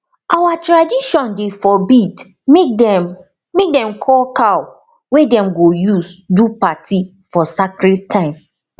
our tradition dey forbid make them make them koll cow wey dem go use do party for scared time